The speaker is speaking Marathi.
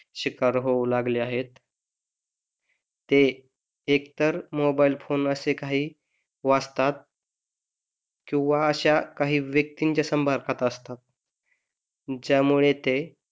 शिकार होऊ लागले आहेत. ते एकतर मोबाइल फोन असे काही वाचतात किंवा अश्या काही व्यक्तीच्या संपर्कात असतात ज्यामुळे ते,